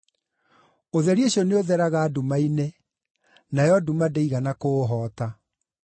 Ũtheri ũcio nĩũtheraga nduma-inĩ, nayo nduma ndĩigana kũũhoota.